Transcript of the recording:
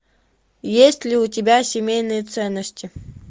есть ли у тебя семейные ценности